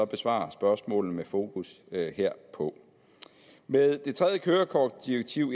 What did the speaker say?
besvare spørgsmålet med fokus herpå med tredje kørekortdirektiv